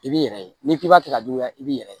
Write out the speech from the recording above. I b'i yɛrɛ ye n'i k'i b'a kɛ ka juguya i b'i yɛrɛ ye